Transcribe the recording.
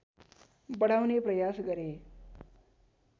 बढाउने प्रयास गरे